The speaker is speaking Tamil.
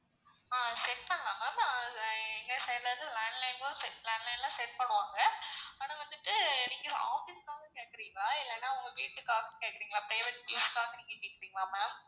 ஆஹ் set பண்ணலாம் ma'am ஆஹ் எங்க side ல இருந்து landline landline லான் set பண்ணுவாங்க, ஆனா வந்துட்டு நீங்க office க்காக கேக்குறீங்களா? இல்லனா உங்க வீட்டுக்காக கேக்குறீங்களா? private use க்காக நீங்க கேகுறீங்களா ma'am?